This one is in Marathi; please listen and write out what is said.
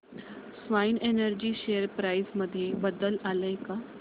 स्वान एनर्जी शेअर प्राइस मध्ये बदल आलाय का